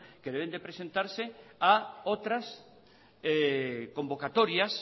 que deben presentarse a otras convocatorias